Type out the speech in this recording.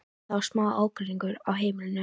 Það er smá ágreiningur á heimilinu.